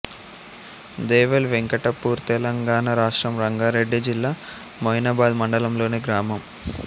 దేవల్ వెంకటాపూర్తెలంగాణ రాష్ట్రం రంగారెడ్డి జిల్లా మొయినాబాద్ మండలంలోని గ్రామం